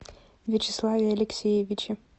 вячеславе алексеевиче